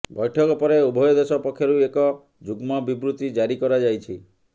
ବୈଠକ ପରେ ଉଭୟ ଦେଶ ପକ୍ଷରୁ ଏକ ଯୁଗ୍ମ ବିବୃତି ଜାରି କରାଯାଇଛି